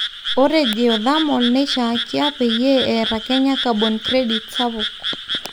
ore geothermal neishankia peyie eeta kenya carbon credits sapuk